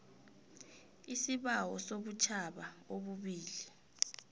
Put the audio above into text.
isibawo sobutjhaba obubili